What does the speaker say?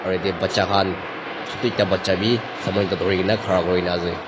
aru yate bacha khan chotu ekta bacha bi saman toh durina khara kurikena ase.